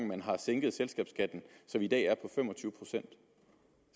man har sænket selskabsskatten som i dag er på fem og tyve procent